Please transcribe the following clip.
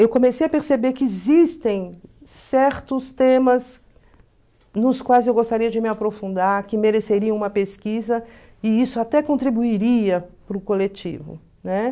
Eu comecei a perceber que existem certos temas nos quais eu gostaria de me aprofundar, que mereceriam uma pesquisa e isso até contribuiria para o coletivo, né?